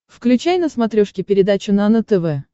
включай на смотрешке передачу нано тв